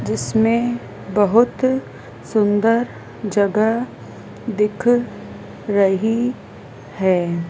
जिसमें बहुत सुंदर जगह दिख रही है।